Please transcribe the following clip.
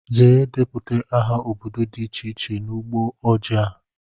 Jee deputa aha ọbọdọ dị iche iche n'ugbó ojii a!!!!